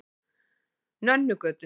Nönnugötu